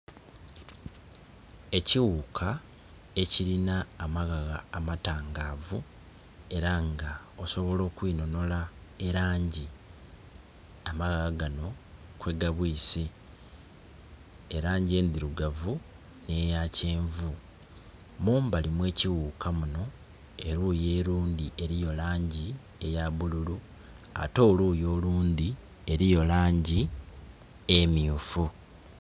Ekiwuka ekirina amaghagha amatangavu, era nga osobola okwinhonhola elangi amaghagha gano kwegabwise, elangi endhirugavu nh'eya kyenvu. Mumbali mw'ekiwuka muno eluuyi olundi eliyo langi eya bululu ate oluuyi olundhi eliyo langi emyufu.